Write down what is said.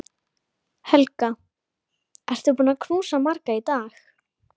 Honum leið stórfenglega við að standa á sínu.